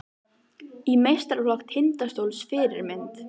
Í meistaraflokk Tindastóls Fyrirmynd?